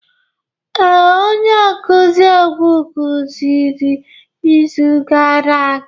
Ee, onye nkuzi egwu kụziri izu gara aga.